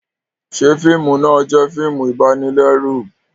Ṣe fiimu náà jẹ fíìmù ibanilẹru?